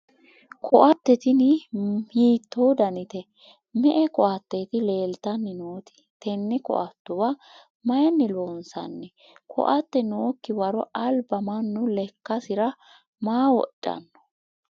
koatte tini hiitto danite? me''e koatteeti leeltanni nooti? tenne koattuwa mayiinni loonsanni? koatte nookki waro alba mannu lekkasira maa wodhanno?